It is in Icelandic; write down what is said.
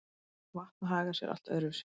Vatn hagar sé allt öðru vísi.